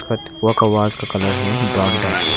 का वास का कलर है ब्राउन टाइप --